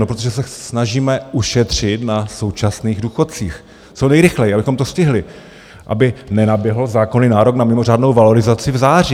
No, protože se snažíme ušetřit na současných důchodcích co nejrychleji, abychom to stihli, aby nenaběhl zákonný nárok na mimořádnou valorizaci v září.